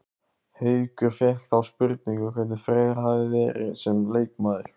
Haukur fékk þá spurningu hvernig Freyr hefði verið sem leikmaður?